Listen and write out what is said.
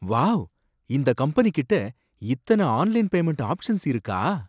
Wow! இந்த கம்பெனிகிட்ட இத்தன ஆன்லைன் பேமண்ட் ஆப்ஷன்ஸ் இருக்கா?